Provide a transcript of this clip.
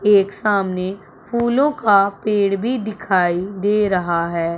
एक सामने फूलों का पेड़ भी दिखाई दे रहा है।